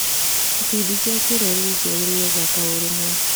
Ikundi cia kĩrũrĩrĩ ciageririe gwaka ũrũmwe.